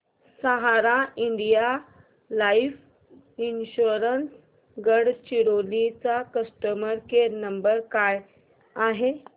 सहारा India life insurance Gadchiroli चा customer care number काय आहे